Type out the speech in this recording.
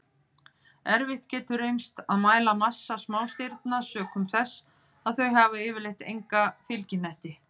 Erfitt getur reynst að mæla massa smástirna sökum þess að þau hafa yfirleitt enga fylgihnetti.